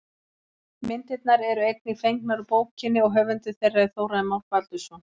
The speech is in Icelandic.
Myndirnar eru einnig fengnar úr bókinni og höfundur þeirra er Þórarinn Már Baldursson.